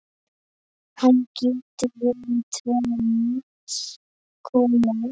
Hann getur verið tvenns konar